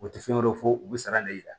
U tɛ fɛn wɛrɛ fɔ u bɛ sara de yira